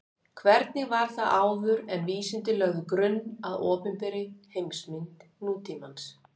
Hvernig var það þá áður en vísindin lögðu grunn að opinberri heimsmynd nútímans?